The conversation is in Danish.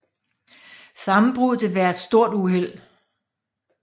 Sammenbruddet vil være et stort uheld